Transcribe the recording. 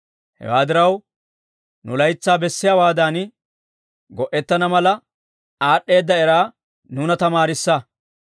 Hewaa diraw, nu laytsaa bessiyaawaadan, go"etana mala aad'd'eeda eraa nuuna tamaarissa.